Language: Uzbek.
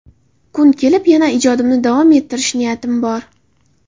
Kun kelib yana ijodimni davom ettirish niyatim bor.